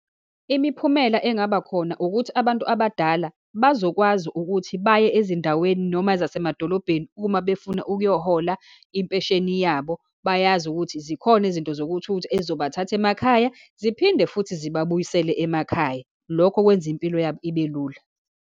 Imiphumela engabakhona ukuthi abantu abadala bazokwazi ukuthi baye ezindaweni, noma ezasemadolobheni uma befuna ukuyohola impesheni yabo, bayazi ukuthi zikhona izinto zokuthutha ezizobathatha emakhaya, ziphinde futhi zibabuyise emakhaya. Lokho kwenza impilo yabo ibe lula.